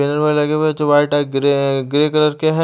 लगे हुए चूहा टाइप ग्रे है ग्रे कलर के है ।